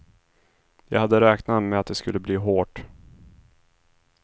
Jag hade räknat med att det skulle bli hårt.